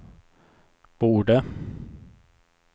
borde